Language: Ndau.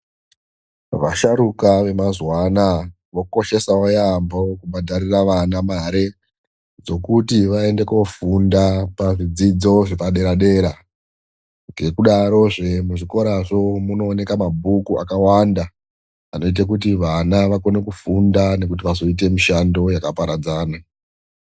Vasharukwa vemazuva anaawa vokoshesawo yaambo kubhadharira vana mare dzekuti vaende koofunda pazvidzidzo zvepadera dera. Ngekudarozve muzvikorazvo umu munoonekwa mabhuku akawanda anoita kuti vana vakone kufunda nekuti vazoite mishando yakaparadzana.